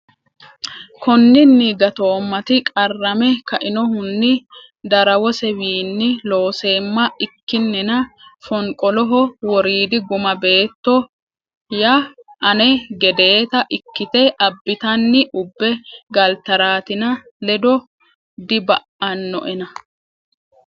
Konninni gatoommati qarrame kainohunni darawosewiinni looseemma ikkinina fonqoloho woriidi guma beetto ya ane gedeeta ikkite abbitanni ubbe galtaraatina ledo diba annoena !